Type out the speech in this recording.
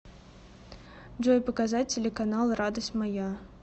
джой показать телеканал радость моя